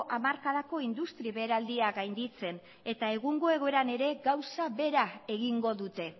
hamarkadako industri beheraldiak gainditzen eta egungo egoeran ere gauza bera egingo dute